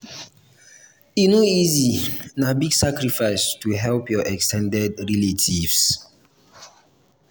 e no easy na big sacrifice to help your ex ten ded relatives.